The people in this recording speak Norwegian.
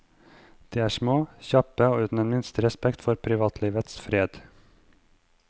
De er små, kjappe og uten den minste respekt for privatlivets fred.